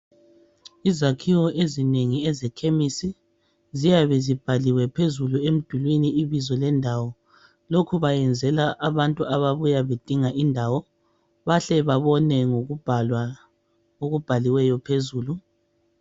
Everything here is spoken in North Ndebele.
Izakhiwo ezinengi ezekhemesi ziyabe zibhaliwe phezulu emdulini ibizo lendawo lokhu bakwenzela abantu ababuya bedinga indawo bahle babone ngokubhala okubhaliweyo phezulu